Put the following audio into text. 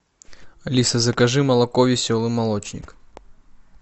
алиса закажи молоко веселый молочник